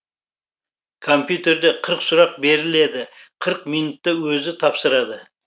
компьютерде қырық сұрақ беріледі қырық минутта өзі тапсырады